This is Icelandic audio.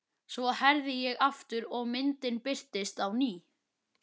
Svo herði ég aftur og myndin birtist á ný.